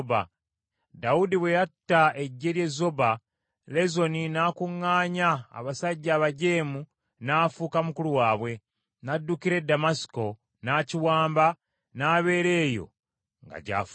Dawudi bwe yatta eggye ly’e Zoba, Lezoni n’akuŋŋaanya abasajja abajeemu n’afuuka mukulu waabwe, n’addukira e Ddamasiko, n’akiwamba, n’abeera eyo nga gy’afugira.